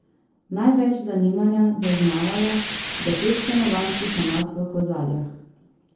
Največ zanimanja zaznavajo za pet stanovanjskih enot v Kozarjah.